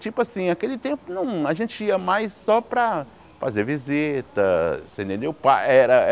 Tipo assim, aquele tempo a gente ia mais só para fazer visita, você entendeu? Pa era